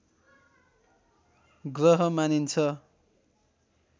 ग्रह मानिन्छ